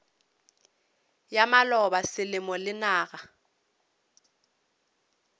ya maloba selemo le naga